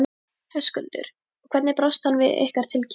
Höskuldur: Og hvernig brást hann við ykkar tilkynningu?